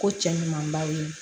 Ko cɛ ɲumanbaw ye